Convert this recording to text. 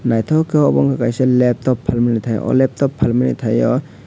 naitotok kei obo wngka leptop palmani tai o leptop palmani tai o.